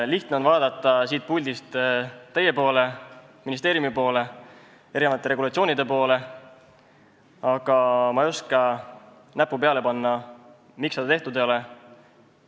Lihtne on vaadata siit puldist teie poole, ministeeriumi poole, erinevate regulatsioonide poole, aga ma ei oska näppu kuhugi peale panna, et miks seda tehtud ei ole.